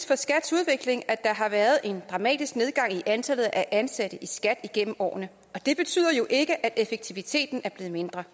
for skats udvikling at der har været en dramatisk nedgang i antallet af ansatte i skat igennem årene og det betyder jo ikke at effektiviteten er blevet mindre